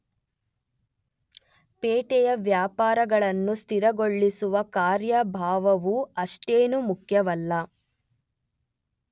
ಪೇಟೆಯ ವ್ಯವಹಾರಗಳನ್ನು ಸ್ಥಿರಗೊಳಿಸುವ ಕಾರ್ಯಭಾರವೂ ಅಷ್ಟೇನೂ ಮುಖ್ಯವಲ್ಲ.